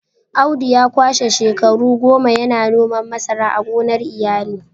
Audu ya kwashe shekaru goma yana noman masara a gonar iyali